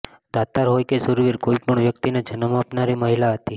દાતાર હોય કે શુરવીર હોય કોઈપણ વ્યકિતને જન્મ આપનારી મહિલા હતી